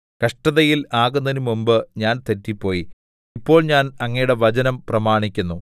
കഷ്ടതയിൽ ആകുന്നതിനു മുമ്പ് ഞാൻ തെറ്റിപ്പോയി ഇപ്പോൾ ഞാൻ അങ്ങയുടെ വചനം പ്രമാണിക്കുന്നു